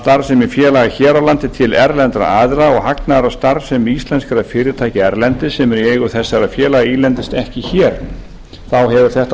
starfsemi félaga hér á landi til erlendra aðila og hagnaður af starfsemi íslenskra fyrirtækja erlendis sem eru í eigu þessara félaga ílendist ekki hér þá hefur þetta